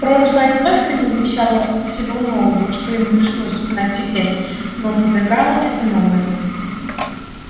прошлое не только не вмещало всего нового что ему пришлось узнать теперь но опровергало это новое